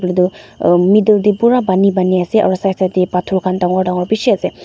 ah middle te pura pani pani ase aru side side te pathor khan dangor dangor bishi ase.